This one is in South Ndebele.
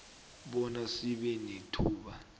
bona sibe nethuba